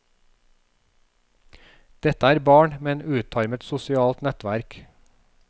Dette er barn med et utarmet sosialt nettverk.